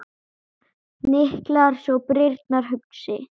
Hnyklar svo brýnnar hugsi.